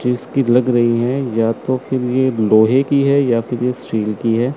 चीज की लग रही है या तो फिर ये लोहे की है या फिर ये स्टील की है।